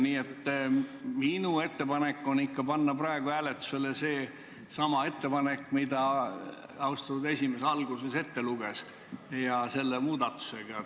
Nii et minu ettepanek on panna praegu hääletusele seesama ettepanek, mille austatud esimees alguses ette luges, koos selle muudatusega.